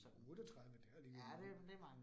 38 det alligevel mange